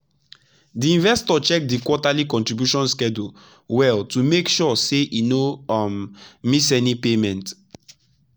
the investor check the quarterly contribution schedule well to make sure say e no um miss any payment.